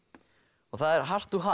og það er